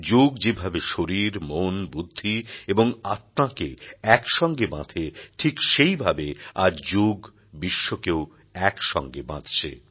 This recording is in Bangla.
যোগ যেভাবে শরীর মন বুদ্ধি এবং আত্মাকে এক সঙ্গে বাঁধে ঠিক সেইভাবে আজ যোগ বিশ্বকেও একসঙ্গে বাঁধছে